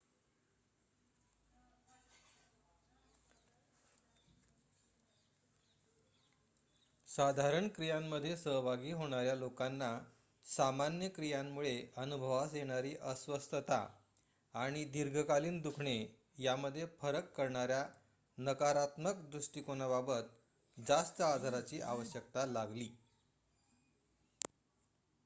साधारण क्रियांमध्ये सहभागी होणाऱ्या लोकांना सामान्य क्रियांमुळे अनुभवास येणारी अस्वस्थता आणि दीर्घकालीन दुखणे यांमध्ये फरक करणाऱ्या नकारात्मक दृष्बाटीकोनाबाबत जास्त आधाराची आवश्यकता लागली